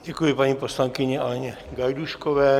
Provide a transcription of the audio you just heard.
Děkuji paní poslankyni Aleně Gajdůškové.